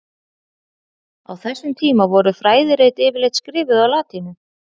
Á þessum tíma voru fræðirit yfirleitt skrifuð á latínu.